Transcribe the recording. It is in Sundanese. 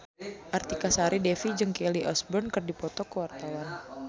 Artika Sari Devi jeung Kelly Osbourne keur dipoto ku wartawan